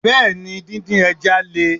Bẹ́ẹ̀ni, din din Le.